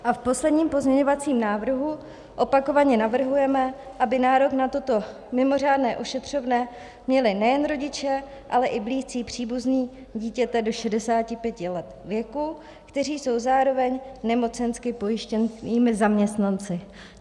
A v posledním pozměňovacím návrhu opakovaně navrhujeme, aby nárok na toto mimořádné ošetřovné měli nejen rodiče, ale i blízcí příbuzní dítěte do 65 let věku, kteří jsou zároveň nemocensky pojištěnými zaměstnanci.